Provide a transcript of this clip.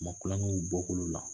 Ma kulon kɛ u bɔkolow la